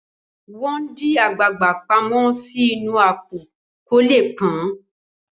wón di àgbagbà pàmò sí inú Àpò kò lẹ pọn.